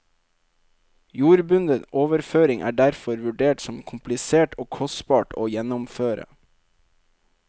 Jordbundet overføring er derfor vurdert som komplisert og kostbart å gjennomføre.